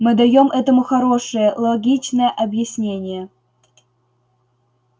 мы даём этому хорошее логичное объяснение